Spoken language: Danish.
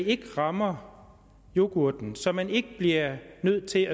ikke rammer yoghurten altså så man ikke bliver nødt til